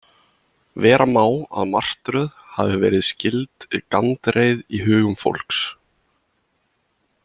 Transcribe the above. Vera má að martröð hafi verið skyld gandreið í hugum fólks.